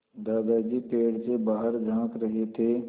दादाजी पेड़ से बाहर झाँक रहे थे